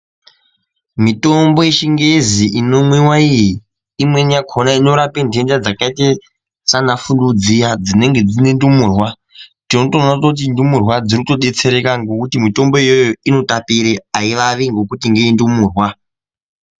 Mitombo yechingezi inomwiwa iyi imweni yakhona inorape nhenda dzakaite saana fuluu dziya dzinenge dzine ndumurwa tinotoona kuti ndumurwa dziri kutodetsereka ngekuti mitombo iyoyo aivavi ngekuti ngeye ndumurwa.